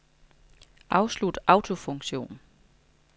Afslut autofunktion.